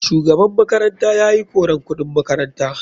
Shugaban makaranta yayi koran kuɗin makaranta.